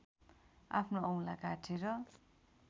आफ्नो औँला काटेर